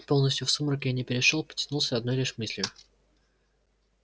полностью в сумрак я не перешёл потянулся одной лишь мыслью